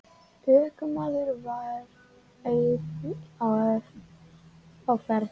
Ökumaður var einn á ferð.